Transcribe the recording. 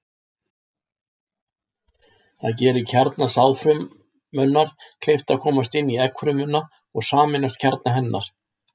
Það gerir kjarna sáðfrumunnar kleift að komast inn í eggfrumuna og sameinast kjarna hennar.